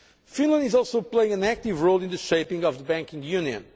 Finland is also playing an active role in the shaping of the banking union.